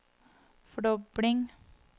fordobling